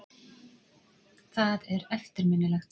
Það er eftirminnilegt.